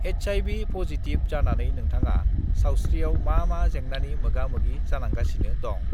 HIV positive जानानै नोंथाङा सावस्रिआव मा मा जेंनानि मोगा मोगि जानांगासिनो दं?